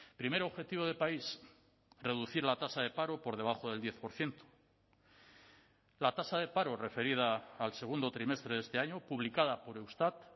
primer objetivo de país reducir la tasa de paro por debajo del diez por ciento la tasa de paro referida al segundo trimestre de este año publicada por eustat